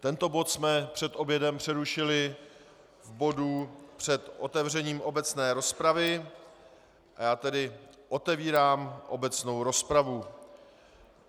Tento bod jsme před obědem přerušili v bodu před otevřením obecné rozpravy a já tedy otevírám obecnou rozpravu.